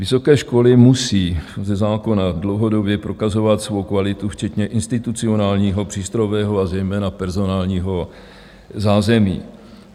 Vysoké školy musí ze zákona dlouhodobě prokazovat svou kvalitu, včetně institucionálního, přístrojového a zejména personálního zázemí.